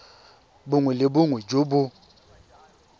bongwe le bongwe jo bo